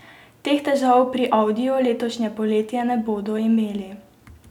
Teh težav pri audiju letošnje poletje ne bodo imeli.